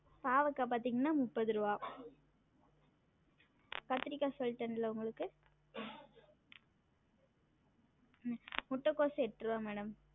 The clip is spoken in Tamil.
பாவக்கா பாத்தீங்கன்னா முப்பது ருவா கத்திரிக்கா சொல்டன்ல உங்களுக்கு உம் முட்டகோஸ் எட்ருவா madam